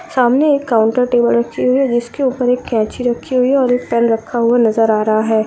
सामने एक counter table रखी हुई है जिस के ऊपर एक कैची रखी हुई हैऔर एक पेन रखा हुआ नज़र आ रहा है।